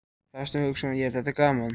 Hafsteinn Hauksson: Er þetta gaman?